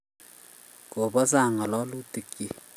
kobo sang' ng'alalutikchich